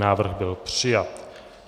Návrh byl přijat.